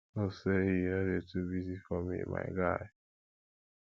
hope say you no dey too busy for me my guy